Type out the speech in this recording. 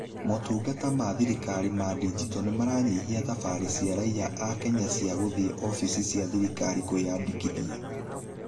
Motungata ma thirikari ma ndinjito nĩmaranyihia thabari cia raiya a kenya cia gũthiĩ obici cia thirikari kwĩyandĩkithia.